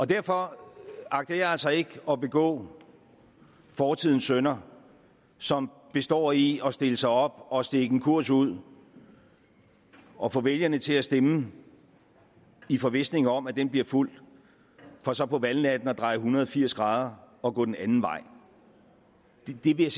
derfor agter jeg altså ikke at begå fortidens synder som består i at stille sig op og stikke en kurs ud og få vælgerne til at stemme i forvisning om at den bliver fulgt for så på valgnatten at dreje en hundrede og firs grader og gå den anden vej det vil